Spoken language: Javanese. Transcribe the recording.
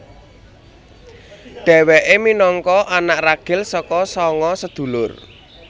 Dhewéke minangka anak ragil saka sanga sedulur